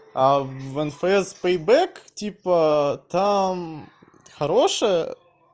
а в н ф с пейбек типа там хорошая